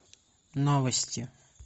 новости